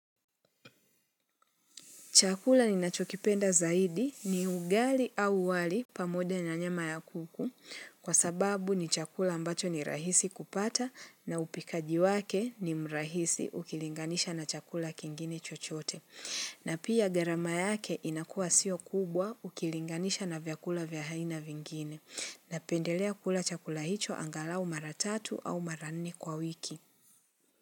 Chakula ninachokipenda zaidi ni ugali au wali pamoja na nyama ya kuku kwa sababu ni chakula ambacho ni rahisi kupata na upikaji wake ni mrahisi ukilinganisha na chakula kingine chochote. Na pia gharama yake inakuwa sio kubwa ukilinganisha na vyakula vya haina vingine napendelea kula chakula hicho angalau mara tatu au mara nne kwa wiki.